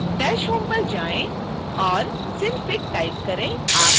dash home पर जाएँ और synfig टाइप करें